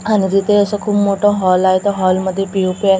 आणि तिथे असा खूप मोठ हॉल आहे त्या हॉलमध्ये पी_ओ_पी आहे पी_ओ_पी मध्ये ल--